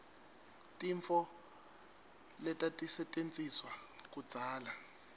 tintfo letatisetjentiswa kudzala